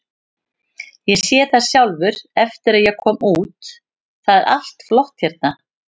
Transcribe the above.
Ég sé það sjálfur eftir að ég kom út, það er allt flott hérna.